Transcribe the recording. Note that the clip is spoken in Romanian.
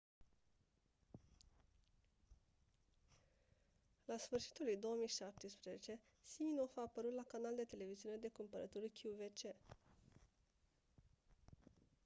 la sfârșitul lui 2017 siminoff a apărut la canal de televiziune de cumpărături qvc